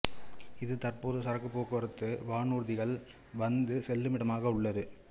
இது தற்போது சரக்கு போக்குவரத்து வானூர்திகள் வந்து செல்லுமிடமாக உள்ளது